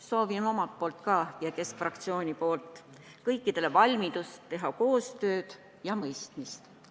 Soovin omalt poolt ja Keskerakonna fraktsiooni poolt kõikidele koostöövalmidust ja mõistmist.